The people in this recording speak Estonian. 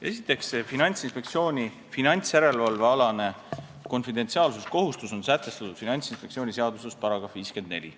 Esiteks, Finantsinspektsiooni finantsjärelevalvealane konfidentsiaalsuskohustus on sätestatud Finantsinspektsiooni seaduse §-s 54.